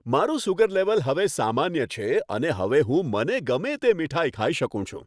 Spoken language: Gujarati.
મારું સુગર લેવલ હવે સામાન્ય છે અને હવે હું મને ગમે તે મીઠાઈ ખાઈ શકું છું.